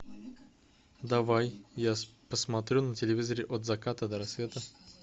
давай я посмотрю на телевизоре от заката до рассвета